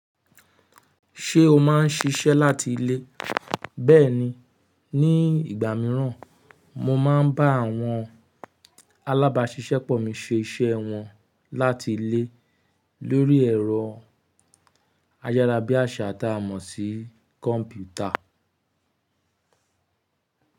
Ṣé o má ń ṣiṣẹ́ láti ilé? Bẹ́ẹ̀ni, ní ìgbà mìíràn mo máa ń bá àwọn alábáṣiṣẹ́pọ̀ mi ṣe iṣẹ́ wọn láti ilé lórí ẹ̀rọ ayárabíàṣá tá a mọ̀ sí kọ́mpútà.